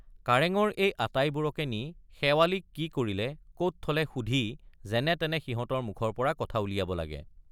কাৰেঙৰ এই আটাইবোৰকে নি শেৱালিক কি কৰিলে কত থলে সুধি যেনে তেনে সিহঁতৰ মুখৰ পৰা কথা উলিয়াব লাগে।